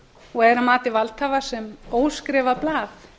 og er að mati valdhafa sem óskrifað blað